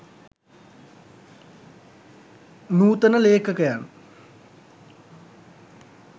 නූතන ලේඛකයන්